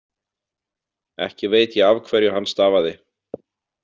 Ekki veit ég af hverju hann stafaði.